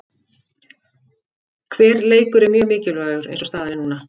Hver leikur er mjög mikilvægur eins og staðan er núna.